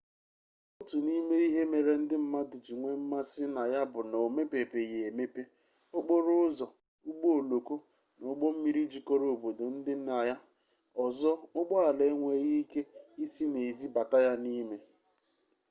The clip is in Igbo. otu n'ime ihe mere ndị mmadụ ji nwee mmasi na ya bu na o mepebeghi emepe okporo ụzọ ụgbọ oloko na ụgbọ mmiri jikọrọ obodo ndị dị na ya ọzọ ụgbọala enweghị ike isi n'ezi bata ya n'ime